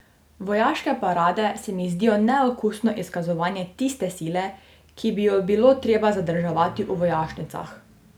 Vojaške parade se mi zdijo neokusno izkazovanje tiste sile, ki bi jo bilo treba zadrževati v vojašnicah.